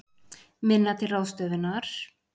Minna til ráðstöfunar